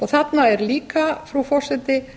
þarna er líka frú forseti